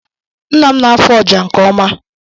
Nna m na-afụ ọjà nke ọma